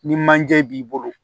Ni manje b'i bolo